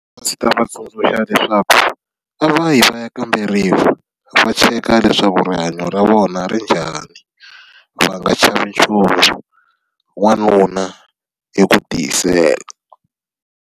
A ndzi ta va tsundzuxa leswaku, a va yi va ya kamberiwa. Va cheka leswaku rihanyo ra vona ri njhani, va nga chavi nchumu. Wanuna i ku tiyisela.